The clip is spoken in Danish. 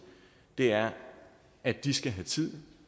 er at de skal have tid at